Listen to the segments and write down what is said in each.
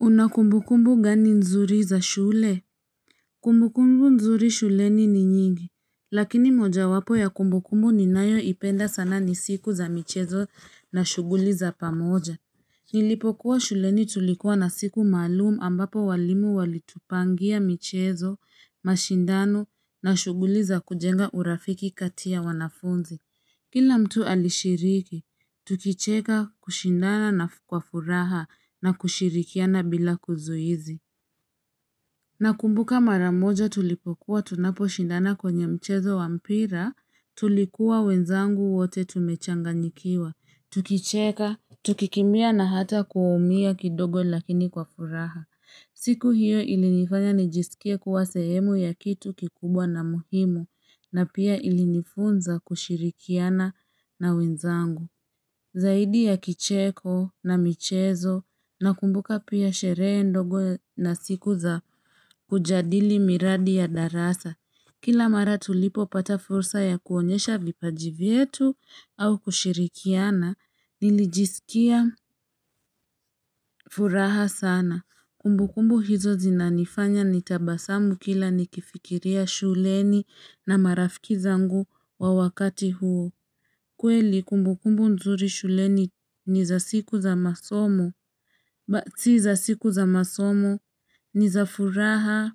Una kumbukumbu gani nzuri za shule? Kumbu kumbu nzuri shuleni ni nyingi. Lakini moja wapo ya kumbukumbu ninayo ipenda sana ni siku za michezo na shughuli za pamoja. Nilipokuwa shuleni tulikuwa na siku maalumu ambapo walimu walitupangia michezo, mashindano na shughuli za kujenga urafiki kati ya wanafunzi. Kila mtu alishiriki, tukicheka kushindana na kwa furaha na kushirikiana bila kizuizi. Nakumbuka maramoja tulipokuwa tunapo shindana kwenye mchezo wa mpira, tulikuwa wenzangu wote tumechanganyikiwa. Tukicheka, tukikimbia na hata kuumia kidogo lakini kwa furaha. Siku hiyo ilinifanya nijisikiye kuwa sehemu ya kitu kikubwa na muhimu na pia ilinifunza kushirikiana na wenzangu. Zaidi ya kicheko na michezo na kumbuka pia sherehe ndogo na siku za kujadili miradi ya darasa. Kila mara tulipo pata fursa ya kuonyesha vipaji vyetu au kushirikiana nilijisikia furaha sana. Kumbukumbu hizo zinanifanya nitabasamu kila nikifikiria shuleni na marafiki zangu wa wakati huo. Kweli kumbukumbu nzuri shuleni ni za siku za masomo. Ba, si za siku za masomo. Ni za furaha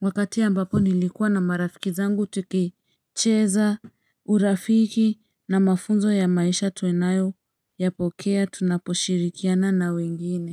wakati ambapo nilikuwa na marafiki zangu tukicheza urafiki na mafunzo ya maisha tunayo yapokea tunaposhirikiana na wengine.